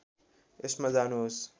यसमा जानुहोस्